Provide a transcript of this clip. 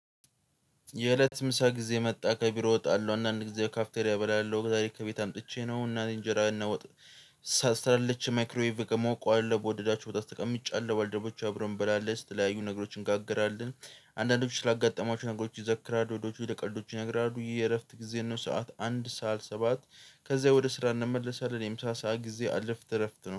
የእለት ምሳ ጊዜ መጣ ከቢሮ ወጣለሁ አንዳንድ ጊዜ ካፍቴርያ እበላለሁ ዛሬ ከቤት አምጥቼ ነው እናቴ እንጀራ እና ወጥ ሰርታለች። ማይክሮዊቭ ሞቁዋል በወደዳችሁት ተቀምጫለሁ ባልደረቦቼ አብረው እንበላለን የተለያዩ ነገሮችን እንጋግራለን። አንዳንዶች ስላጋጠማችሁ ነገሮች ይዘክራሉ ወዶች ወደ ቀልዶቹ ይነግራሉ። የየእረፍት ጊዜ ነው ሰዓት አንድ ሰዓት ሰባት። ከዛ ወደ ስራ እንመለሳለን። የምሳ ሰዓት ጊዜ አልፍት እረፍት ነው